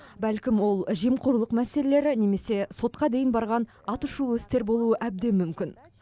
бәлкім ол жемқорлық мәселелері немесе сотқа дейін барған атышулы істер болуы әбден мүмкін